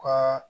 Ka